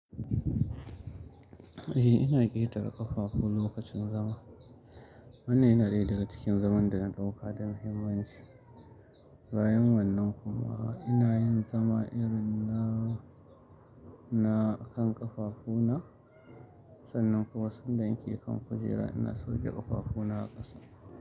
Eh ina ƙetara ƙafafu lokacin zama. Wannan yana ɗaya daga cikin zaman da na ɗauka da muhimmanci. Bayan wannan kuma ina yin zama irin na, na kan ƙafafuna. Sannan kuma sanda nake akan kujera ina sauke ƙafafuna a ƙasa.